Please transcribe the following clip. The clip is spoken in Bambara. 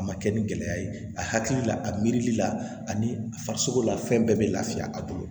A ma kɛ ni gɛlɛya ye a hakili la a miiri la ani a farisogo la fɛn bɛɛ bɛ laafiya a bolo